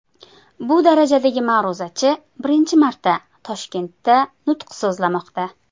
Bu darajadagi ma’ruzachi birinchi marta Toshkentda nutq so‘zlamoqda.